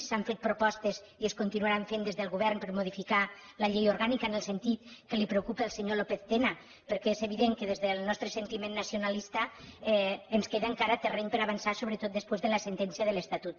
s’han fet propostes i es continuaran fent des del govern per a modificar la llei orgànica en el sentit que li preocupa al senyor lópez tena perquè és evident que des del nostre sentiment nacionalista ens queda encara terreny per avançar sobretot després de la sentència de l’estatut